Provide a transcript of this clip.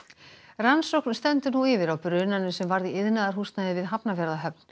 rannsókn stendur nú yfir á brunanum sem varð í iðnaðarhúsnæði við Hafnarfjarðarhöfn